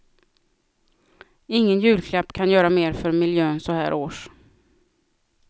Ingen julklapp kan göra mer för miljön så här års.